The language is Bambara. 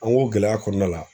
An ko gɛlɛya kɔnɔna la